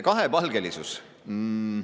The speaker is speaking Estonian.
Kahepalgelisus!